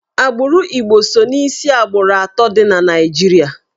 Agbụrụ Igbo so n'isi agbụrụ atọ dị na Naịjirịa.